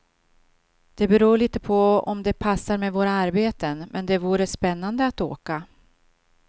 Det beror litet på om det passar med våra arbeten, men det vore spännande att åka.